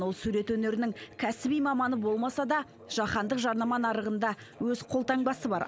ол сурет өнерінің кәсіби маманы болмаса да жаһандық жарнама нарығында өз қолтаңбасы бар